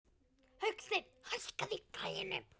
Hauksteinn, hækkaðu í græjunum.